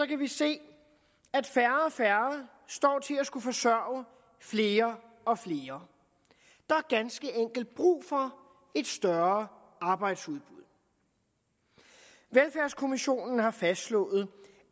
kan vi se at færre og færre står til at skulle forsørge flere og flere der er ganske enkelt brug for et større arbejdsudbud velfærdskommissionen har fastslået